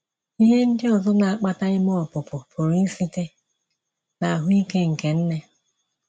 Ihè ndị ọzọ na - akpata ime ọpụpụ pụrụ ísite n’ahụ́ ike nke nnè.